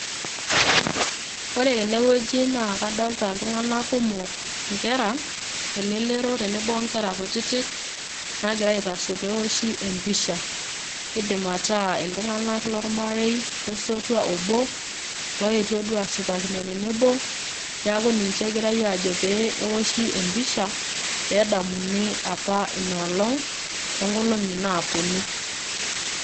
Ore tenewueji naa kadolta iltung'anak kumok, inkera, elelero tenebo onkera kutitik, nagira aitasho pewoshi empisha. Kidim ataa iltung'anak lormarei, losotua obo, loetuo duo ashipakino tenebo, neeku ninche egirai ajo pee ewoshi empisha, pedamuni apa inoolong, tonkolong'i naponu.